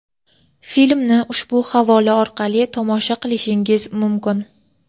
Filmni ushbu havola orqali tomosha qilishingiz mumkin.